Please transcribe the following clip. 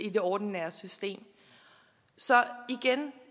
i det ordinære system så igen